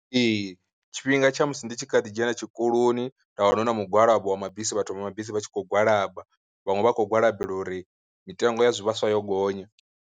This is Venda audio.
Ee tshifhinga tsha musi ndi tshi kha ḓi dzhena tshikoloni nda wana hu na mugwalabo wa mabisi vhathu vha mabisi vha tshi khou gwalaba, vhaṅwe vha kho gwalabelwa uri mitengo ya zwivhaswa yo gonya.